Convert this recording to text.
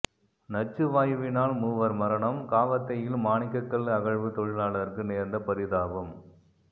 நச்சுவாயுவினால் மூவர் மரணம் காவத்தையில் மாணிக்கக்கல் அகழ்வு தொழிலாளருக்கு நேர்ந்த பரிதாபம்